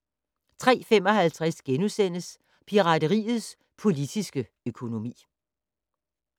03:55: Pirateriets politiske økonomi *